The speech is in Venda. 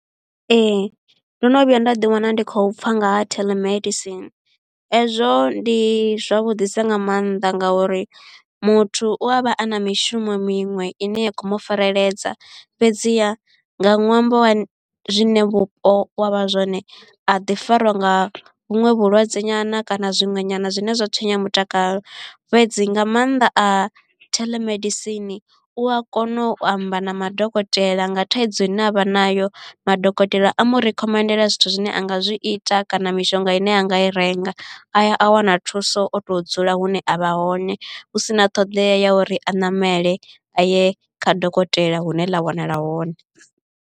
Ee ndo no vhuya nda ḓi wana ndi khou pfha nga ha telemedicine, hezwo ndi zwavhuḓi sa nga maanḓa ngauri muthu u a vha a na mishumo miṅwe ine ya khou mu fareledzea fhedziha nga ṅwambo wa zwine vhupo wa vha zwone a ḓi fariwa nga vhuṅwe vhulwadze nyana kana zwiṅwe nyana zwine zwa tswenya mutakalo. Fhedzi nga maanḓa a theḽemedisini u a kona u amba na madokotela nga thaidzo ine avha nayo madokotela a mu rikhomendela zwithu zwine a nga zwi ita kana mishonga ine a nga i renga a ya a wana thuso o to dzula hune avha hone hu sina ṱhoḓea ya uri a ṋamele a ye kha dokotela hune ḽa wanala hone.